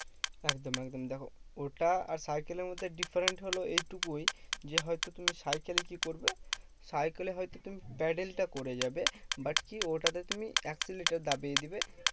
একদম একদম দেখো ওটা আর সাইকেলের মধ্যে difference হলো এইটুকুই যে, হয়তো তুমি সাইকেলে কি করবে? সাইকেলে হয়তো তুমি প্যাটেল টা করে যাবে but কি? ওটাতে তুমি accelerate দাবিয়ে দেবে